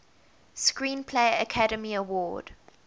screenplay academy award